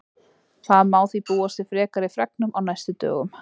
Það má því búast við frekari fregnum á næstu dögum.